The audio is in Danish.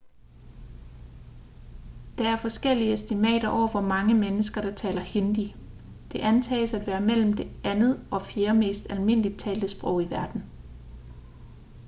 der er forskellige estimater over hvor mange mennesker der taler hindi det antages at være mellem det andet og fjerde mest almindeligt talte sprog i verden